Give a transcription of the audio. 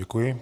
Děkuji.